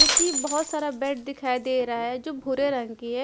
जो कि बहोत सारा बेड दिखाई दे रहा है जो भूरे रंग की है।